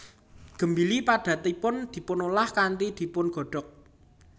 Gembili padatanipun dipunolah kanthi dipungodog